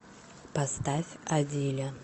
поставь адиля